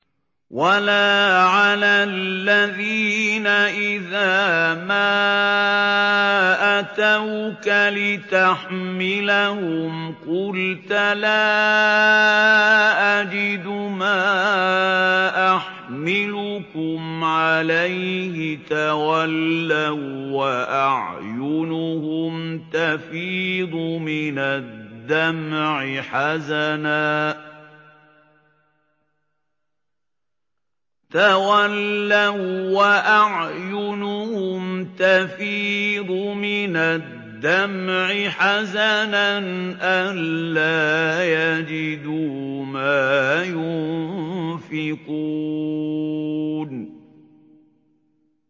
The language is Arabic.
وَلَا عَلَى الَّذِينَ إِذَا مَا أَتَوْكَ لِتَحْمِلَهُمْ قُلْتَ لَا أَجِدُ مَا أَحْمِلُكُمْ عَلَيْهِ تَوَلَّوا وَّأَعْيُنُهُمْ تَفِيضُ مِنَ الدَّمْعِ حَزَنًا أَلَّا يَجِدُوا مَا يُنفِقُونَ